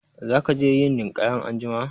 Za ka je yin ninƙaya anjima?